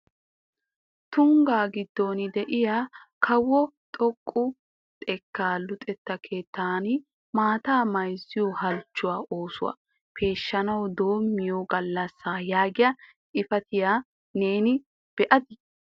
"Tungga giddon de"iya kawo xoqqa xekkaa luxetta keettan maatta mayzziyo halchchuwa oosuwaw peeshshanaw doommiyo galassa " yaagiy xifaatiya neeni be'adi?